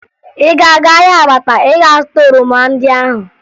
Ị ga-aga ahịa Abakpa ịga zụta oroma ndị ahụ?